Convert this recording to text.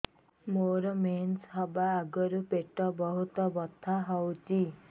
ମୋର ମେନ୍ସେସ ହବା ଆଗରୁ ପେଟ ବହୁତ ବଥା ହଉଚି